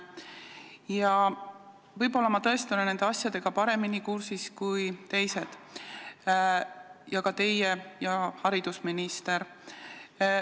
Ja võib-olla ma tõesti olen nende asjadega paremini kursis kui teised, sh ka teie ja haridusminister.